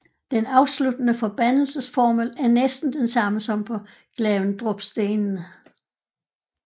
Den afsluttende forbandelsesformel er næsten den samme som på Glavendrupstenen